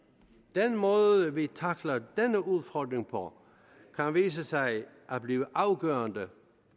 den måde vi tackler denne udfordring på kan vise sig at blive afgørende